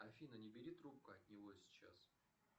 афина не бери трубку от него сейчас